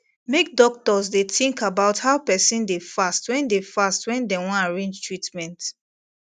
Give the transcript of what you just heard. make doctors dey think about how person dey fast when dey fast when dem wan arrange treatment